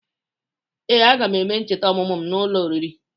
Ee, aga m eme ncheta ọmụmụ m n'ụlọ oriri.